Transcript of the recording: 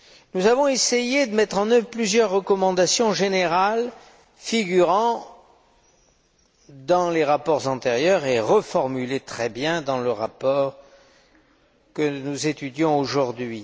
Nous avons essayé de mettre en œuvre plusieurs recommandations générales figurant dans les rapports antérieurs et qui sont très bien reformulées dans le rapport que nous étudions aujourd'hui.